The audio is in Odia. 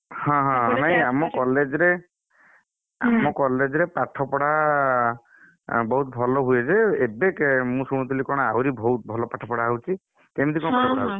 ହଁ ହଁ ନାଇଁ ଆମ college ରେ? ଆମ college ରେ ପାଠପଢା, ବୋହୁତ ଭଲ ହୁଏ ଯେ, ଏବେ ମୁଁ ଶୁଣୁଥିଲି କଣ ଯେଆହୁରି ବହୁତ ଭଲ ପାଠପଢା ହଉଛି, କେମତି କଣ ପାଠ ପଢା ହଉଛି?